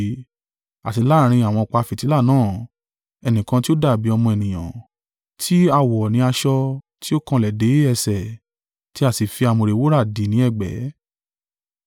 àti láàrín àwọn ọ̀pá fìtílà náà, ẹnìkan tí ó dàbí “ọmọ ènìyàn,” tí a wọ̀ ní aṣọ tí ó kanlẹ̀ dé ẹsẹ̀, tí a sì fi àmùrè wúrà dì ní ẹ̀gbẹ́.